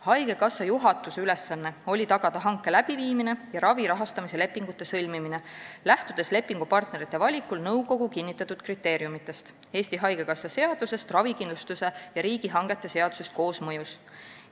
Haigekassa juhatuse ülesanne oli tagada hanke läbiviimine ja ravi rahastamise lepingute sõlmimine, lähtudes lepingupartnerite valikul nõukogu kinnitatud kriteeriumidest, Eesti Haigekassa seadusest, ravikindlustuse seadusest ja riigihangete seadusest koosmõjus.